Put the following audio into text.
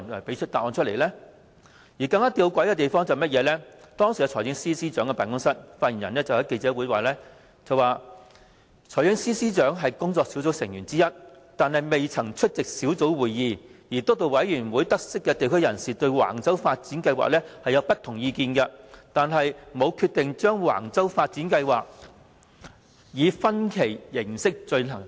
更吊詭的是，當時財政司司長辦公室的發言人在記者會當晚發表回應，指財政司司長是工作小組成員之一，但未曾出席工作小組會議；而督導委員會得悉地區人士對橫洲房屋發展計劃有不同意見，但沒有決定把橫洲房屋發展計劃以分期形式進行。